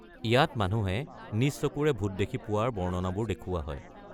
ইয়াত মানুহে নিজ চকুৰে ভূত দেখি পোৱাৰ বৰ্ণনাবোৰ দেখুওৱা হয়।